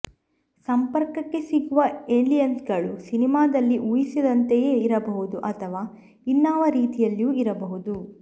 ಸಂಪರ್ಕಕ್ಕೆ ಸಿಗುವ ಏಲಿಯನ್ಗಳು ಸಿನಿಮಾದಲ್ಲಿ ಊಹಿಸಿದಂತೆಯೇ ಇರಬಹುದು ಅಥವಾ ಇನ್ನಾವ ರೀತಿಯಲ್ಲಿಯೋ ಇರಬಹುದು